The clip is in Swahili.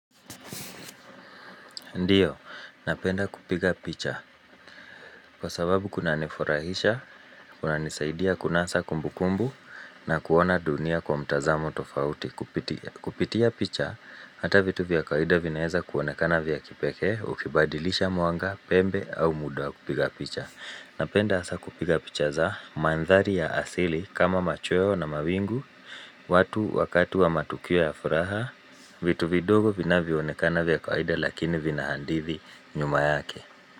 Ndiyo, napenda kupiga picha. Kwa sababu kunanifurahisha, kunanisaidia, kunasa kumbukumbu na kuona dunia kwa mtazamo tofauti. Kupitia picha, hata vitu vya kawaida vinaeza kuonekana vya kipekee, ukibadilisha mwanga, pembe au muda wa kupiga picha. Napenda hasa kupiga picha za mandhari ya asili kama machweo na mawingu, watu wakati wa matukio ya furaha. Vitu vidogo vinavyoonekana vya kawaida lakini vina handithi nyuma yake.